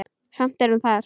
Samt er hún þar.